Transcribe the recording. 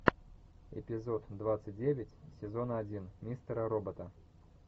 эпизод двадцать девять сезона один мистера робота